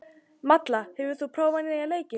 Malla, hefur þú prófað nýja leikinn?